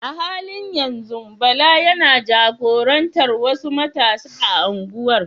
A halin yanzu Bala yana jagorantar wasu matasa a unguwar?